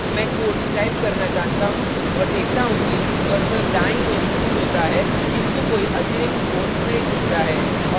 मैं quotes type करना जानता हूँ और देखता हूँ कि cursor दाईं ओर moves होता है किंतु कोई अतिरिक्त कोट्स नहीं जुड़ता है